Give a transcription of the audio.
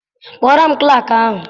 Kpọọrọ m klaakị ahụ!